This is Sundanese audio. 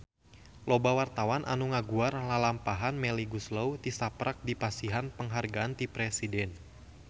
Loba wartawan anu ngaguar lalampahan Melly Goeslaw tisaprak dipasihan panghargaan ti Presiden